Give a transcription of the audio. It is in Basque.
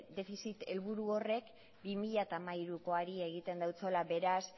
defizit helburu horrek bi mila hamairukoari egiten diola beraz